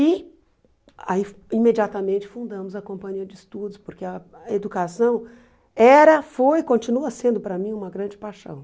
E aí imediatamente fundamos a companhia de estudos, porque a educação era, foi e continua sendo para mim uma grande paixão.